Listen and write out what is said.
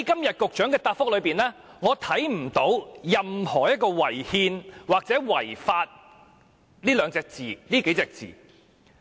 在局長的答覆中，沒有任何"違憲"或"違法"的字眼。